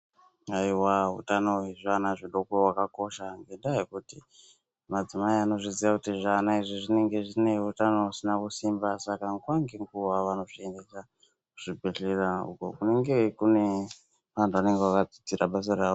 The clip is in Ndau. Aiwa hutano hwezvivana zvidoko hwakakosha ngendaa yekuti madzimai anozviziya kuti zvana izvi zvinenge zvine utano husina kusimba, Saka nguva ngenguva vanozviendesa kuzvibhedhlera uko kunenge kune vantu vanenge vakadzidzira basa rawo.